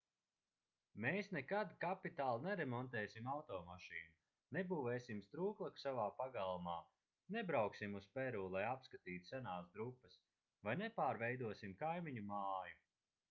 mēs nekad kapitāli neremontēsim automašīnu nebūvēsim strūklaku savā pagalmā nebrauksim uz peru lai apskatītu senās drupas vai nepārveidosim kaimiņu māju